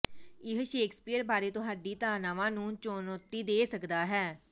ਇਹ ਸ਼ੇਕਸਪੀਅਰ ਬਾਰੇ ਤੁਹਾਡੀ ਧਾਰਨਾਵਾਂ ਨੂੰ ਚੁਣੌਤੀ ਦੇ ਸਕਦਾ ਹੈ